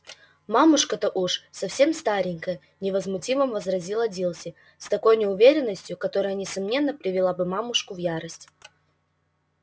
мамушка-то уж совсем старенькая невозмутимо возразила дилси с такой уверенностью которая несомненно привела бы мамушку в ярость